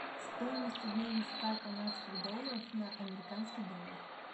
стоимость обмена ста канадских долларов на американский доллар